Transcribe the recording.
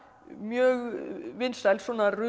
mjög vinsæl svona